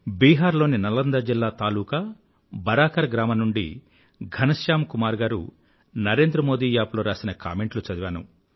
బీహార్ లోని నలందా జిల్లా తాలూకూ బరాకర్ గ్రామం నుండి ఘనశ్యామ్ కుమార్ గారు నరేంద్రమోదీ యాప్ లో రాసిన కామెంట్లు చదివాను